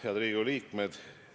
Head Riigikogu liikmed!